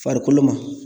Farikolo ma